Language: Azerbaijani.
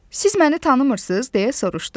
Siz məni tanımırıız, deyə soruşdu.